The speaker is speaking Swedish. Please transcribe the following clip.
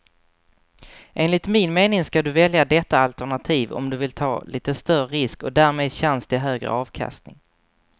Enligt min mening ska du välja detta alternativ om du vill ta lite större risk och därmed chans till högre avkastning.